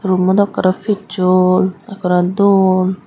roommo dw ekkore pichol ekkore dol.